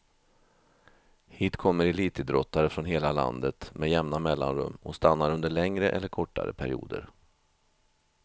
Hit kommer elitidrottare från hela landet med jämna mellanrum och stannar under längre eller kortare perioder.